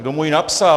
Kdo mu ji napsal?